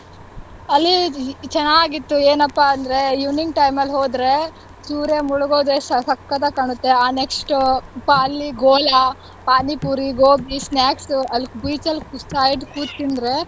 ಅಲ್ಲಿ ಚೆನ್ನಾಗಿತ್ತು ಏನಪ್ಪಾ ಅಂದ್ರೆ evening time ಅಲ್ ಹೋದ್ರೆ ಸೂರ್ಯ ಮುಳುಗುದೆಷ್ಟ್ ಸಕ್ಕತ್ ಆಗ್ ಕಾಣತ್ತೆ. ಆ next ಬಾ~ ಅಲ್ಲಿ ಗೋಲ, ಪಾನೀಪೂರಿ gobi, snacks ಅಲ್ beach ಅಲ್ side ಕೂತ್ ತಿಂದ್ರೆ.